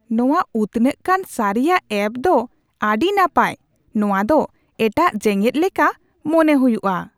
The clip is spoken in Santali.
ᱱᱚᱶᱟ ᱩᱛᱱᱟᱹᱜ ᱠᱟᱱ ᱥᱟᱹᱨᱤᱭᱟᱜ ᱮᱹᱯ ᱫᱚ ᱟᱹᱰᱤ ᱱᱟᱯᱟᱭ ᱾ᱱᱚᱶᱟ ᱫᱚ ᱮᱴᱟᱜ ᱡᱮᱜᱮᱫ ᱞᱮᱠᱟ ᱢᱚᱱᱮ ᱦᱩᱭᱩᱜᱼᱟ ᱾